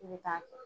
I bɛ taa kɛ